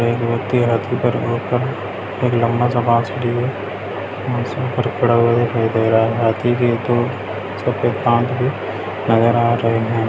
एक व्यक्ति हाथी पर रोका है लंबा सा बांस लिए हुए हाथी पर खड़ा हुआ दिखाई दे रहा है हाथी के दो सफेद दांत भी नज़र आ रहे हैं।